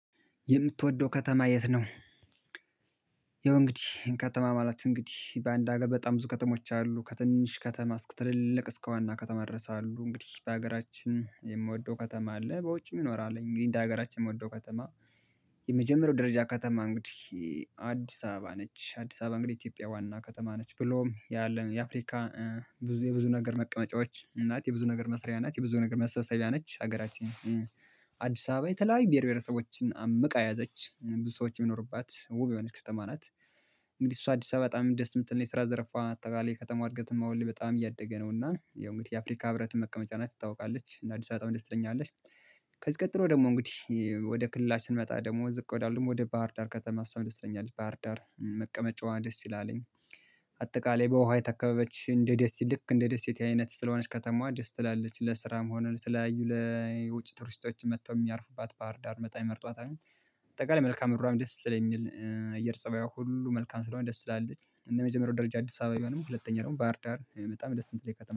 የምትወደው ከተማ የት ነው? ያው እንግዲህ ከተማ ማለት እንግዲህ በአንድ ሀገር በጣም ብዙ ከተሞች አሉ ከትንንሽ ከተማ እስከ ትልልቅ እስከ ዋና ከተማ ድረስ አሉ እንግዲህ በሀገራችን የምወደው ከተማ አለ በውጭም ይኖራል እንግዲህ እንደ ሀገራችን የምወደው ከተማ የመጀመሪያው ደረጃ ከተማ እንግዲህ አዲስ አበባ ነች አዲስ አበባ እንግዲህ ኢትዮጵያ ዋና ከተማ ነች ብሎም ያለ የአፍሪካ የብዙ ነገር መቀመጫዎች ናት የብዙ ነገር መስሪያ እናት የብዙ ነገር መሰብሰቢያ ነች ሀገራችን አዲስ አበባ የተለያዩ ብሄር ብሄረሰቦችን አምቃ ያዘች ብዙ ሰዎች የሚኖሩባት ዉብ የሆነች ከተማ ናት እንግዲህ እሷ አዲስ አበባ በጣም እንደ የምትል ነች የስራ ዘርፋ አጠቃላይ ከተማ እድገትም አሁን ላይ በጣም እያደገ ነውና የእንግዲህ የአፍሪካ ህብረት መቀመጫ ናት ትታወቃለች እና አዲስ አበባ በጣም ደስ ትለኛለች። ከዚህ ቀጥሎ ደግሞ እንግዲህ ወደ ክልል ላይ ስንመጣ ደግሞ ዝቅ ወዳሉም ወደ ባህር ዳር ከተማ እሷም ይለኛል ባህር ዳር መቀመጫዋ ደስ ይላልኝ አጠቃላይ በውሃ የተከበበች እንደ ደስ ልክ እንደ ደሴት አይነት ስለሆነች ከተማዋ ደስ ትላለች ለስራ ሆነም ተለያዩ ለውጭ ቱሪስቶች መጥተው የሚያርፉባት ባህር ዳር በጣም ይመርጧል። ባጠቃላይ መልካ ምድሯም ደስ ስለሚል አየር ፀባዩ ሁሉ መልካም ስለሆነ ደስ ትላለች እንደ መጀመሪያው ደረጃ አዲስ አበባ ባይሆንም ሁለተኛ ደግሞ ባህርዳር በጣም ደስ የምትለኝ ከተማ ነጭ